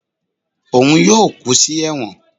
òun yóò kú sí ẹwọ́n